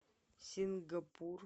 сингапур